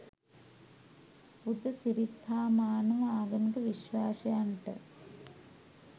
පුදසිරිත් හා මානව ආගමික විශ්වාසයන්ට